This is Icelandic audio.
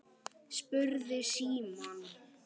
spurði Símon.